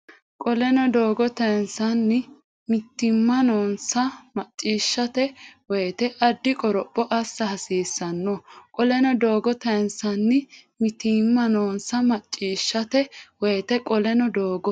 Qoleno doogo tayinsanni mitiimma noonsa macciishshate woyte addi qoropho assa hasiissanno Qoleno doogo tayinsanni mitiimma noonsa macciishshate woyte Qoleno doogo.